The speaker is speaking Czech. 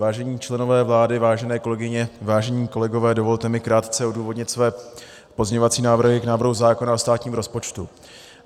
Vážení členové vlády, vážené kolegyně, vážení kolegové, dovolte mi krátce odůvodnit své pozměňovací návrhy k návrhu zákona o státním rozpočtu.